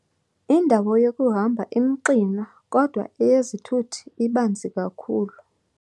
Indawo yokuhamba imxinwa kodwa eyezithuthi ibanzi kakhulu.